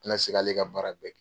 tɛ na se k'ale ka baara kɛ.